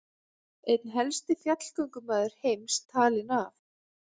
Einn helsti fjallgöngumaður heims talinn af